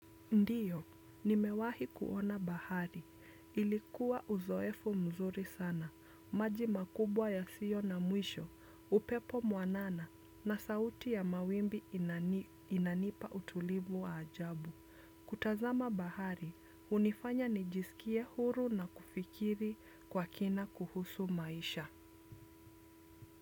Ndiyo, nimewahi kuona bahari. Ilikuwa uzoefo mzuri sana, maji makubwa yasiyo na mwisho, upepo mwanana na sauti ya mawimbi inanipa utulivu wa ajabu. Kutazama bahari, hunifanya nijisikie huru na kufikiri kwa kina kuhusu maisha.